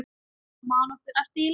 Man nokkur eftir því lengur?